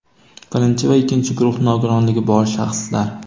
Birinchi va ikkinchi guruh nogironligi bor shaxslar.